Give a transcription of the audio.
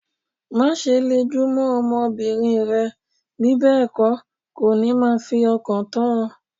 Má ṣe le jù mó ọmọ bìnrin rẹ, bí bẹ́ẹ̀ kó, kò ní máa fi ọkàn tán o.